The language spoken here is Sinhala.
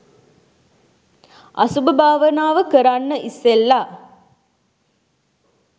අසුභ භාවනාව කරන්න ඉස්සෙල්ල